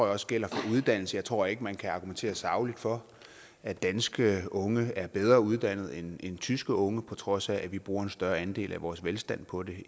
også gælder for uddannelse jeg tror ikke man kan argumentere sagligt for at danske unge er bedre uddannet end tyske unge på trods af at vi bruger en større andel af vores velstand på det